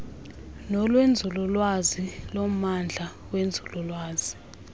nolwenzululwazi lommandla wenzululwazi